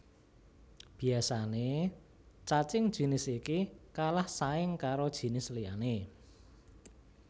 Biasane cacing jinis iki kalah saing karo jinis liyané